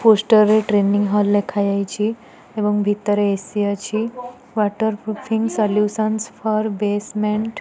Poster ରେ training hall ଲେଖାଯାଇଛି ଏବଂ ଭିତରେ ଏ_ସି ଅଛି waterproofing solutions for basement.